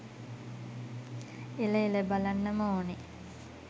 එල එල බලන්නම ඕනේ